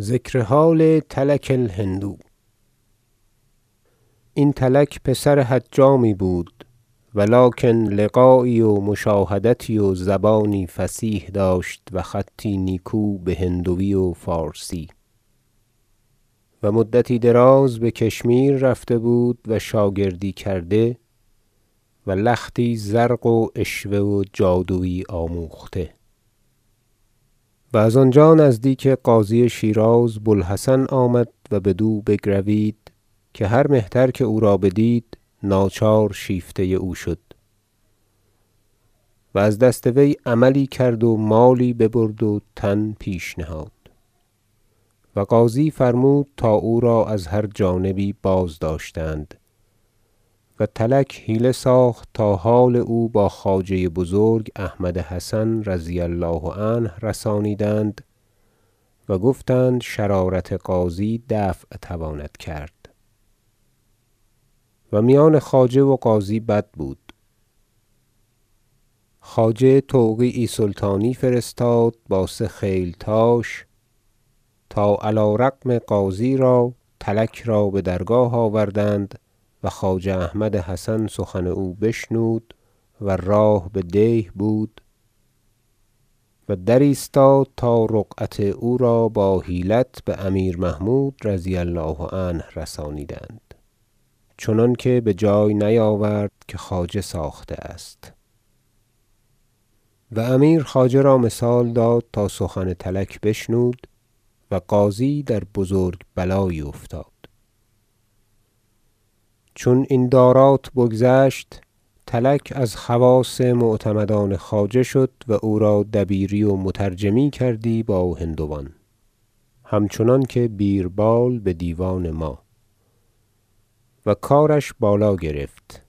ذکر حال تلک الهندو این تلک پسر حجامی بود ولکن لقایی و مشاهدتی و زبانی فصیح داشت و خطی نیکو بهندوی و فارسی و مدتی دراز بکشمیر رفته بود و شاگردی کرده و لختی زرق و عشوه و جادویی آموخته و از آنجا نزدیک قاضی شیراز بوالحسن آمد و بدو بگروید که هر مهتر که او را بدید ناچار شیفته او شد و از دست وی عملی کرد و مالی ببرد و تن پیش نهاد و قاضی فرمود تا او را از هر جانبی بازداشتند و تلک حیله ساخت تا حال او با خواجه بزرگ احمد حسن رضی الله عنه رسانیدند و گفتند شرارت قاضی دفع تواند کرد و میان خواجه و قاضی بد بود خواجه توقیعی سلطانی فرستاد با سه خیلتاش تا علی رغم قاضی را تلک را بدرگاه آوردند و خواجه احمد حسن سخن او بشنود و راه بدیه بود و درایستاد تا رقعت او بحیلت بامیر محمود رضی الله عنه رسانیدند چنانکه بجای نیاورد که خواجه ساخته است و امیر خواجه را مثال داد تا سخن تلک بشنود و قاضی در بزرگ بلایی افتاد چون این دارات بگذشت تلک از خواص معتمدان خواجه شد و او را دبیری و مترجمی کردی با هندوان همچنان که بیربال بدیوان ما و کارش بالا گرفت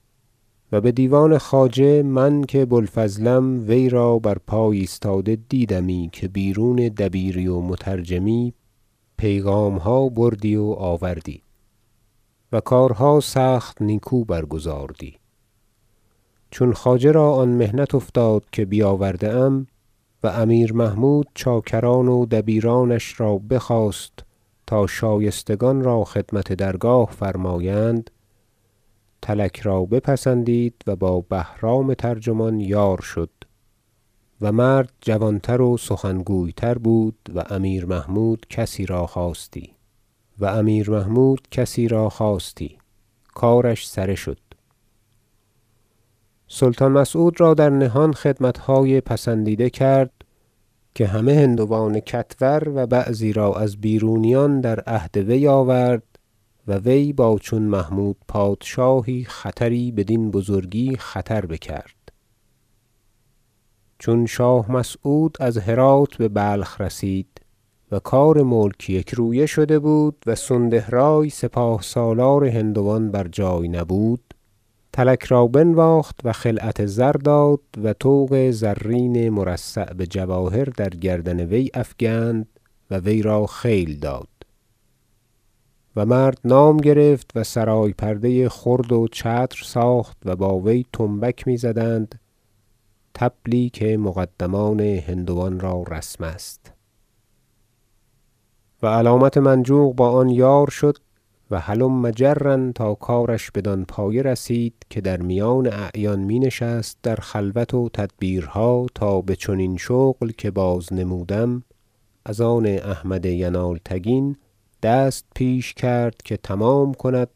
و بدیوان خواجه من که بوالفضلم وی را بر پای ایستاده دیدمی که بیرون دبیری و مترجمی پیغامها بردی و آوردی و کارها سخت نیکو برگزاردی چون خواجه را آن محنت افتاد که بیاورده ام و امیر محمود چاکران و دبیرانش را بخواست تا شایستگان را خدمت درگاه فرمایند تلک را بپسندید و با بهرام ترجمان یار شد و مرد جوانتر و سخن- گوی تر بود و امیر محمود چنین کسی را خواستی کارش سره شد سلطان مسعود را در نهان خدمتهای پسندیده کرد که همه هندوان کتور و بعضی را از بیرونیان در عهد وی آورد و وی با چون محمود پادشاهی خطری بدین بزرگی بکرد چون شاه مسعود از هرات ببلخ رسید و کار ملک یکرویه شده بود و سوندهرای سپاه سالار هندوان بر جای نبود تلک را بنواخت و خلعت زر داد و طوق زرین مرصع بجواهر در گردن وی افکند و وی را خیل داد و مرد نام گرفت و سرای پرده خرد و چتر ساخت و با وی طنبک میزدند طبلی که مقدمان هندوان را رسم است و علامت منجوق با آن یار شد و هلم جرا تا کارش بدان پایه رسید که در میان اعیان می نشست در خلوت و تدبیرها تا بچنین شغل که بازنمودم از آن احمد ینالتگین دست پیش کرد که تمام کند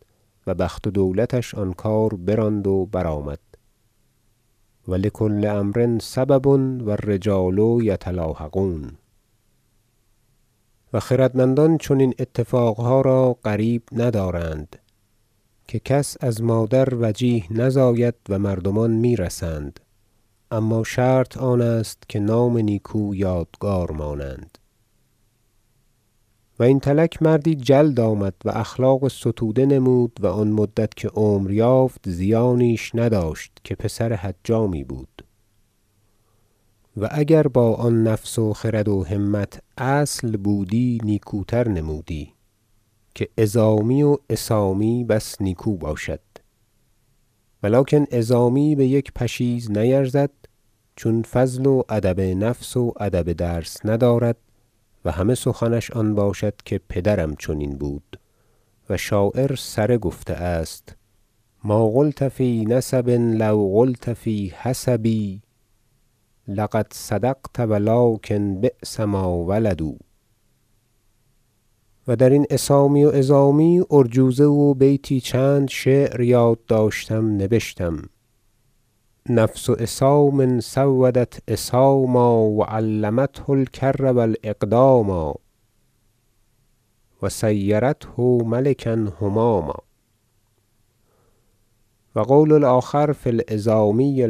و بخت و دولتش آن کار براند و برآمد و لکل امر سبب و الرجال یتلاحقون و خردمندان چنین اتفاقها غریب ندارند که کس از مادر وجیه نزاید و مردمان میرسند اما شرط آن است که نام نیکو یادگار مانند و این تلک مردی جلد آمد و اخلاق ستوده نمود و آن مدت که عمر یافت زیانیش نداشت که پسر حجامی بود و اگر با آن نفس و خرد و همت اصل بودی نیکوتر نمودی که عظامی و عصامی بس نیکو باشد ولکن عظامی بیک پشیز نیرزد چون فضل و ادب نفس و ادب درس ندارد و همه سخنش آن باشد که پدرم چنین بود و شاعر سره گفته است شعر ما قلت فی نسب لو قلت فی حسب لقد صدقت ولکن بیس ما ولدوا و درین عصامی و عظامی ارجوزه و بیتی چند یاد داشتم نبشتم شعر نفس عصام سودت عصاما و علمته الکر و الأقداما و صیرته ملکا هماما و قول الآخر فی العظامی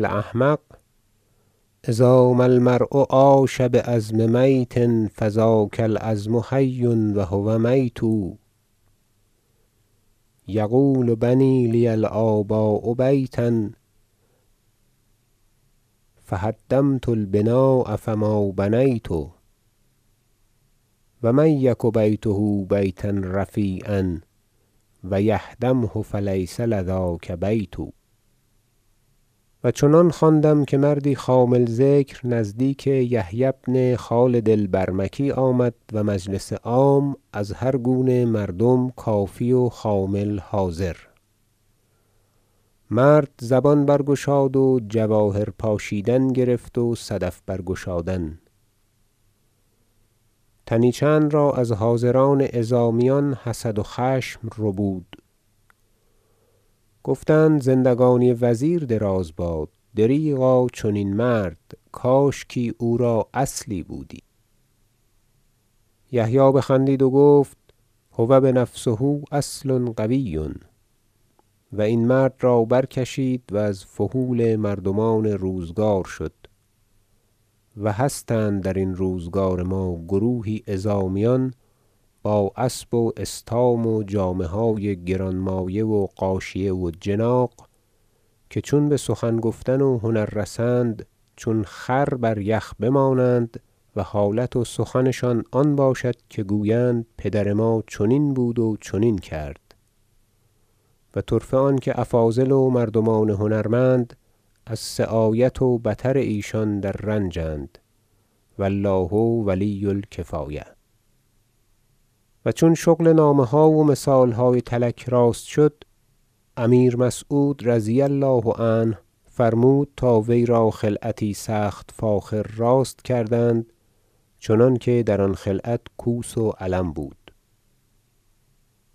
الأحمق إذا ما المرء عاش بعظم میت فذاک العظم حی و هو میت یقول بنی لی الآباء بیتا فهدمت البناء فما بنیت و من یک بیته بیتا رفیعا و یهدمه فلیس لذاک بیت و چنان خواندم که مردی خامل ذکر نزدیک یحیی بن خالد البرمکی آمد و مجلس عام از هر گونه مردم کافی و خامل حاضر مرد زبان برگشاد و جواهر پاشیدن گرفت و صدف برگشادن تنی چند را از حاضران عظامیان حسد و خشم ربود گفتند زندگانی وزیر دراز باد دریغا چنین مرد کاشکی او را اصلی بودی یحیی بخندید و گفت هو بنفسه اصل قوی و این مرد را برکشید و از فحول مردمان روزگار شد و هستند درین روزگار ما گروهی عظامیان با اسب و استام و جامه های گران مایه و غاشیه و جناغ که چون بسخن گفتن و هنر رسند چون خر بریخ بمانند و حالت و سخنشان آن باشد که گویند پدر ما چنین بود و چنین کرد و طرفه آنکه افاضل و مردمان هنرمند از سعایت و بطر ایشان در رنج اند و الله ولی الکفایة و چون شغل نامه ها و مثالهای تلک راست شد امیر مسعود رضی الله عنه فرمود تا وی را خلعتی سخت فاخر راست کردند چنانکه در آن خلعت کوس و علم بود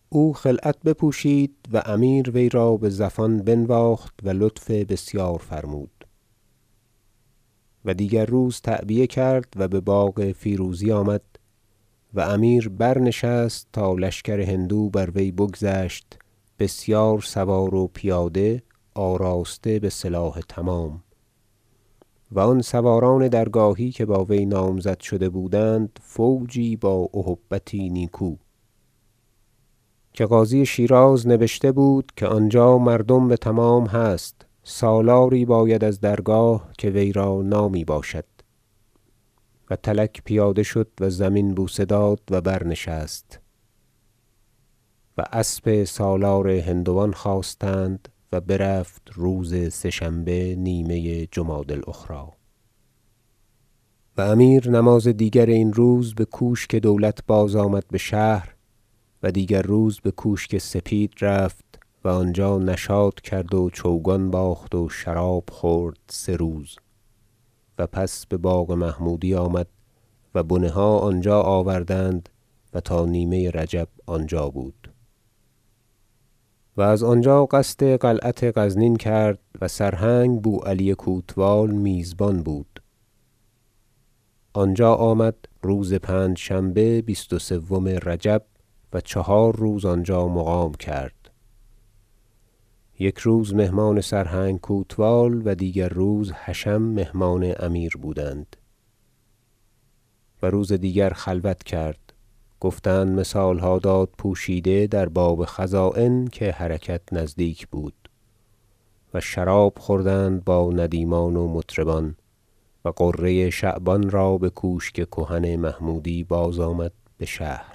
او خلعت بپوشید و امیر وی را بزفان بنواخت و لطف بسیار فرمود و دیگر روز تعبیه کرد و بباغ فیروزی آمد و امیر برنشست تا لشکر هندو بر وی بگذشت بسیار سوار و پیاده آراسته بسلاح تمام و آن سواران درگاهی که با وی نامزد شده بودند فوجی با اهبتی نیکو که قاضی شیراز نبشته بود که آنجا مردم بتمام هست سالاری باید از درگاه که وی را نامی باشد و تلک پیاده شد و زمین بوسه داد و برنشست و اسب سالار هندوان خواستند و برفت روز سه شنبه نیمه جمادی الأخری و امیر نماز دیگر این روز بکوشک دولت بازآمد بشهر و دیگر روز بکوشک سپید رفت و آنجا نشاط کرد و چوگان باخت و شراب خورد سه روز و پس بباغ محمودی آمد و بنه ها آنجا آوردند و تا نیمه رجب آنجا بود و از آنجا قصد قلعت غزنین کرد و سرهنگ بوعلی کوتوال میزبان بود آنجا آمد روز پنجشنبه بیست و سوم رجب و چهار روز آنجا مقام کرد یک روز مهمان سرهنگ کوتوال و دیگر روز حشم مهمان امیر بودند و روز دیگر خلوت کرد گفتند مثالها داد پوشیده در باب خزاین که حرکت نزدیک بود و شراب خوردند با ندیمان و مطربان و غره شعبان را بکوشک کهن محمودی بازآمد بشهر